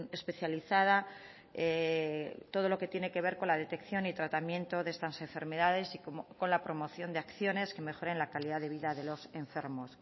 especializada todo lo que tiene que ver con la detección y tratamiento de estas enfermedades y con la promoción de acciones que mejoren la calidad de vida de los enfermos